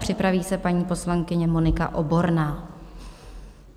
Připraví se paní poslankyně Monika Oborná.